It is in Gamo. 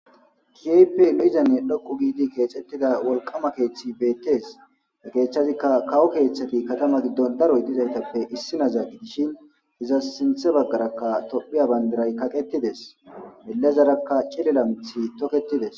kehipe lo7izanne dhoqu giidi keexettida wolqama keeththi beettees ne keeththazikka kawo keeththati katama giddon daroy dizaytappe issinazaa gi dishin hiza sinthe baggarakka tophiya bandiray kaqetides elezarakka cilelamthi toketides